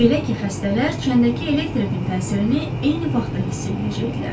Belə ki, xəstələr çəndəki elektrikin təsirini eyni vaxtda hiss eləyəcəkdilər.